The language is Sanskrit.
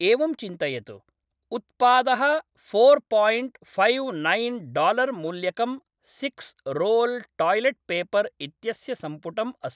एवं चिन्तयतु, उत्पादः four point five nine dollar मूल्यकं सिक्स् रोल् टायलेट् पेपर् इत्यस्य सम्पुटम् अस्ति।